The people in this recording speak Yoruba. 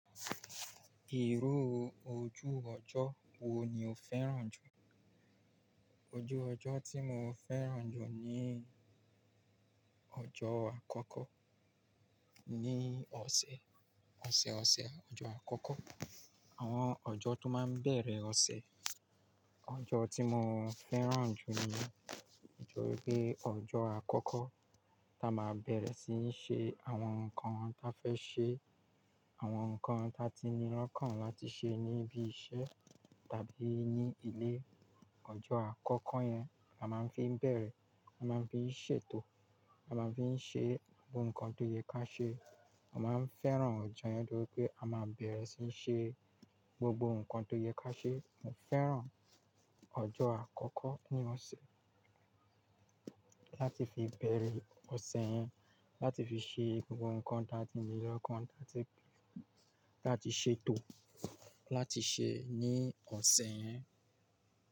Ìrù ojú ọjọ́ wo ni o fẹ́ràn jù? Ojú ọjọ́ tí mo fẹ́ràn jù ni ọjọ́ àkọ́kọ́ ní ọ̀sẹ̀, ọ̀sẹ̀ ọ̀sẹ̀ ọjọ́ àkọ́kọ́. Àwọn ọjọ́ tó máa ń bẹ̀rẹ̀ ọ̀sẹ̀. Ọjọ́ tí mo fẹ́ràn jù ni nítorí pé ọjọ́ àkọ́kọ́ tá a máa bẹ̀rẹ̀ síí ṣe àwọn nǹkan ta fẹ́ ṣe, àwọn nǹkan ta ti nílọ́kàn láti ṣe ní ibi iṣẹ́ tàbí ní ilé. Ọjọ́ àkọ́kọ́ yẹn a máa ń fi bẹ̀rẹ̀, a máa ń fi ṣètò, a máa ń fi ṣe gbogbo nǹkan tó yẹ ká ṣe. A máa ń fẹ́ràn ọjọ́ yẹn nítorí pé a máa bẹ̀rẹ̀ síí ṣe gbogbo nǹkan tó yẹ ká ṣe. Mo fẹ́ràn ọjọ́ àkọ́kọ́ ní ọ̀sẹ̀ láti fi bẹ̀rẹ̀ ọ̀sẹ̀ yẹn, láti fi ṣe gbogbo nǹkan ta ti nílọ́kàn, láti, láti ṣètò, láti ṣe ní ọ̀sẹ̀ yẹn.